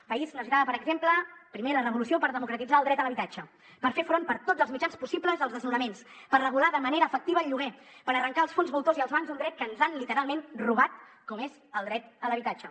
el país necessitava per exemple primer la revolució per democratitzar el dret a l’habitatge per fer front per tots els mitjans possibles als desnonaments per regular de manera efectiva el lloguer per arrencar els fons voltors i els bancs un dret que ens han literalment robat com és el dret a l’habitatge